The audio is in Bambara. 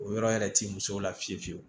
O yɔrɔ yɛrɛ t'i musow la fiyewu fiyewu